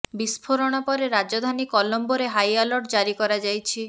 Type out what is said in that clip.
ବିସ୍ଫୋରଣ ପରେ ରାଜଧାନୀ କଲମ୍ବୋରେ ହାଇ ଆଲର୍ଟ ଜାରି କରାଯାଇଛି